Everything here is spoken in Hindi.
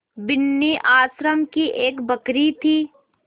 बिन्नी आश्रम की एक बकरी थी